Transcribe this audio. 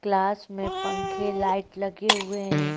Class में पंखे light लगे हुए हैं।